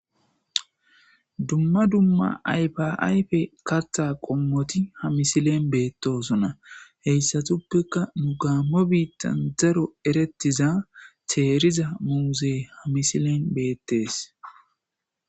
dumma dumma aypa aype kattha qommoti ha misilen beettosona heyssatuppeka nu gaammo biittan zaro erettiza teeriza muuze hamisilen beettees